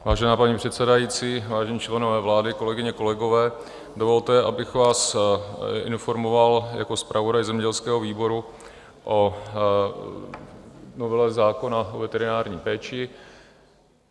Vážená paní předsedající, vážení členové vlády, kolegyně, kolegové, dovolte, abych vás informoval jako zpravodaj zemědělského výboru o novele zákona o veterinární péči.